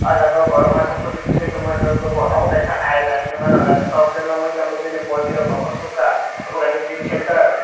aw jaaga borok masa puto tesai tongmani nugmano obo kaisa aina heni mano nythoktoke nuglai tongo bini body rok nogor sukha.